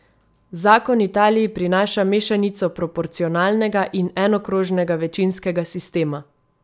Zakon Italiji prinaša mešanico proporcionalnega in enokrožnega večinskega sistema.